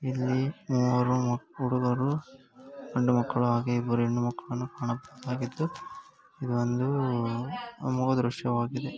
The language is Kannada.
ಇಲ್ಲಿ ಮೂರೂ ಹುಡುಗರು ಗಂಡು ಮಕ್ಕಳು ಹಾಗೆ ಹೆಣ್ಣು ಮಕ್ಕಳು ಕಾಣ ಬಹುದಾಗಿದ್ದು ಇದೊಂದು ಅಮೋಘ ದೃಶ್ಯ ವಾಗಿದೆ.